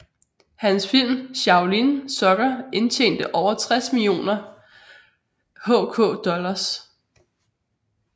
Hans film Shaolin Soccer indtjente over 60 millioner HK dollars